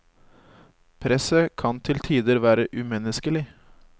Presset kan til tider være umenneskelig.